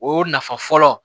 O nafa fɔlɔ